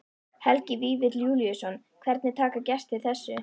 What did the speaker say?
Helgi Vífill Júlíusson: Hvernig taka gestir þessu?